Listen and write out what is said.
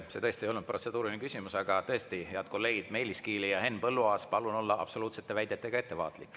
See tõesti ei olnud protseduuriline küsimus, aga tõesti, head kolleegid Meelis Kiili ja Henn Põlluaas, palun olla absoluutsete väidetega ettevaatlik.